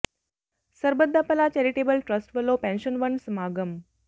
ਸਰਬੱਤ ਦਾ ਭਲਾ charitable trust ਵਲੋਂ ਪੈਨਸ਼ਨ ਵੰਡ ਸਮਾਗਮ